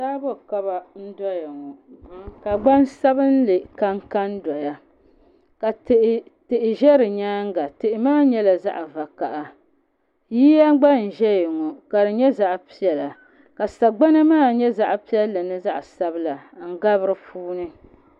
Taabo kaba n doya ŋɔ ka gbansabinli kanka n doya ka tihi ʒɛ di nyaanga tihi maa nyɛla zaɣ vakaɣa yiya gba n ʒɛya ŋɔ ka di nyɛ zaɣ piɛla ka sagbana maa nyɛ zaɣ piɛlli ni zaɣ sabila n gabi di puuni